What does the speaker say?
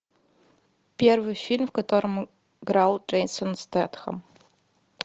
первый фильм в котором играл джейсон стэтхэм